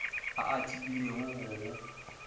a a tebilego ya go